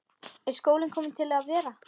Er skólinn kominn til að vera?